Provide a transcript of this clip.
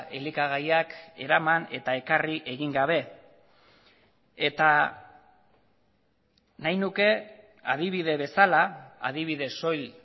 elikagaiak eraman eta ekarri egin gabe eta nahi nuke adibide bezala adibide soil